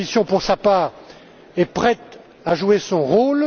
La Commission, pour sa part, est prête à jouer son rôle.